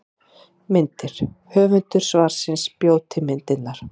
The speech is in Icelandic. Myndir: Höfundur svarsins bjó til myndirnar.